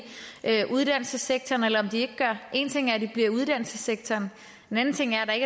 uddannelsessektoren eller om de ikke gør det en ting er at de bliver i uddannelsessektoren en anden ting er at der